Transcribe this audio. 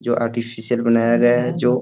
जो आर्टिफिसियल बनाया गया है जो --